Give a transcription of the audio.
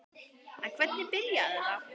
En hvernig byrjaði þetta?